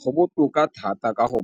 Go botoka thata ka go